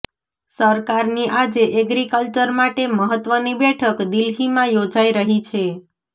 સરકારની આજે એગ્રિકલ્ચર માટે મહત્વની બેઠક દિલ્હીમાં યોજાઈ રહી છે